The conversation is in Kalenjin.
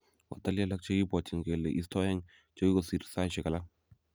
Watalii alak chekibwotyin kele isto aeng chekikokisor saishek alak.